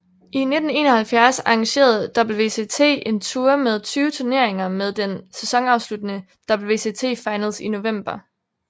I 1971 arrangerede WCT en tour med 20 turneringer med den sæsonafsluttende WCT Finals i november